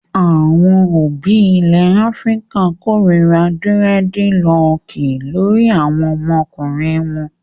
Àwọn òbí ilẹ̀ Áfíríkà kórira dírẹ́dilọọkì lórí àwọn ọmọkùnrin wọn.